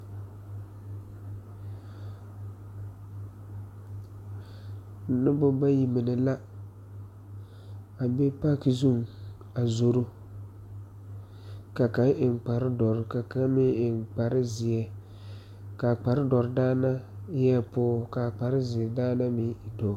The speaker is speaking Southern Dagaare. Nobɔ bayi mine la a be paki zuŋ a zoro ka kaŋ eŋ kpare dɔre ka kaŋ meŋ eŋ kpare zeɛ kaa kpare dɔre daana eɛɛ pɔɔ kaa kpare zeɛ daana meŋ e dɔɔ.